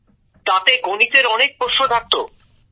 তাতে গণিতের অনেক প্রশ্ন থাকত